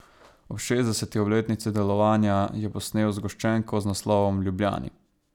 Ob šestdeseti obletnici delovanja je posnel zgoščenko z naslovom Ljubljani.